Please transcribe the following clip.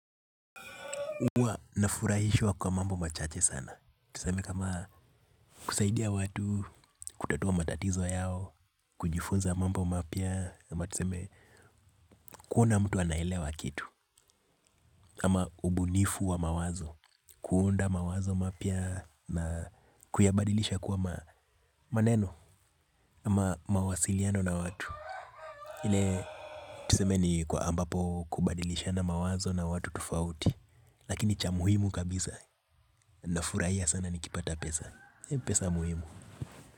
Huwa nafurahishwa kwa mambo machache sana. Tuseme kama kusaidia watu, kutatua matatizo yao, kujifunza mambo mapya, ama tuseme kuona mtu anaelewa kitu. Ama ubunifu wa mawazo, kuunda mawazo mapya na kuyabadilisha kuwa maneno, ama mawasiliano na watu. Ile tuseme ni kwa ambapo kubadilishana mawazo na watu tofauti. Lakini cha muhimu kabisa, nafurahia sana nikipata pesa. Pesa muhimu.